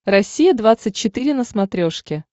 россия двадцать четыре на смотрешке